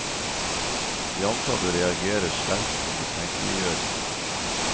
De ansatte reagerer sterkt på mistenkeliggjøringen.